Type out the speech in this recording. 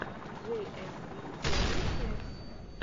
джей эс ви первая часть